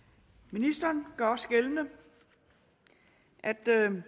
ministeren gør også gældende at